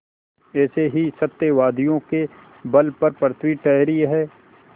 ऐसे ही सत्यवादियों के बल पर पृथ्वी ठहरी है